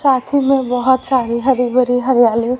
साथी में बहोत सारी हरी भरी हरियाली--